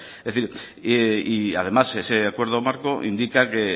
y además ese acuerdo marco indica que